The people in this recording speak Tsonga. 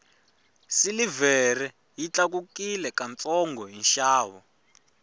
silivhere yi tlakukile ka ntsongo hi nxavo